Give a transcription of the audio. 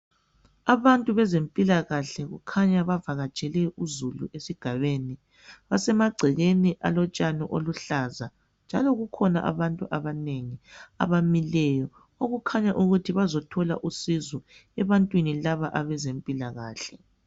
Abantu bezempilakahle kukhanya bavakatshele uzulu esigabeni, basemagcekeni alotshani oluhlaza njalo kukhona abantu abanengi abamileyo okukhanya ukuthi bazothola usizo ebantwini laba abezempilakahle